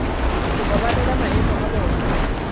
go babalela maemo a bona